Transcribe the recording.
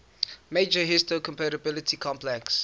major histocompatibility complex